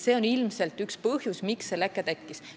See on ilmselt üks põhjusi, miks see leke tekkis.